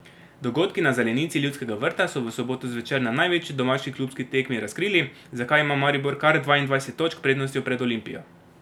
Dogodki na zelenici Ljudskega vrta so v soboto zvečer na največji domači klubski tekmi razkrili, zakaj ima Maribor kar dvaindvajset točk prednosti pred Olimpijo.